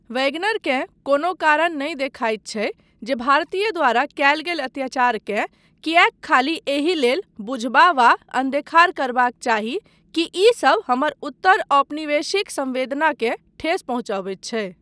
वैगनरकेँ कोनो कारण नहि देखाइत छै जे भारतीय द्वारा कयल गेल अत्याचारकेँ कियैक खाली एहि लेल बुझबा वा अन्देखार करबाक चाही कि ई सब हमर उत्तर औपनिवेशिक संवेदनाकेँ ठेस पहुँचबैत छै।